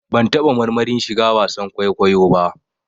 Ban taɓa marmarin shiga wasan kwaikwayo ba